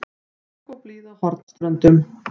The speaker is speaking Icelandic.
Bongóblíða á Hornströndum.